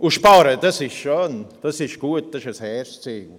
» Sparen ist schön, es ist gut, es ist ein hehres Ziel.